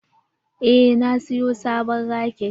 Eh na siyo sabon raket.